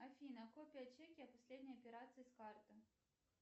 афина копия чеки о последней операции с карты